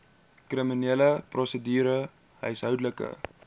kriminele prosedure huishoudelike